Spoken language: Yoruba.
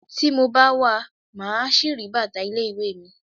Tí mo bá wa, màá ṣì rí bàtà ilé ìwé mi.